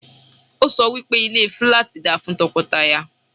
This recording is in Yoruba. Ọ́ sọ wí pé ilé fúláàtì da fún tọkọtaya.